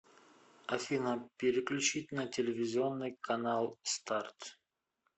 афина переключить на телевизионный канал старт